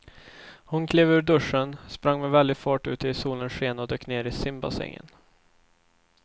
Hon klev ur duschen, sprang med väldig fart ut i solens sken och dök ner i simbassängen.